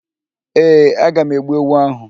Ee, aga m egbu ewu áhụ̀.